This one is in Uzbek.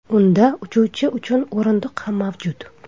Unda uchuvchi uchun o‘rindiq ham mavjud.